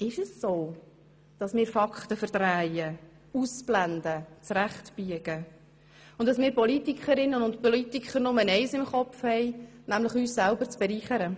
Ist es denn so, dass wir Fakten verdrehen, ausblenden, zurechtbiegen und dass wir Politikerinnen und Politiker nur eines im Kopf haben, nämlich uns selbst zu bereichern?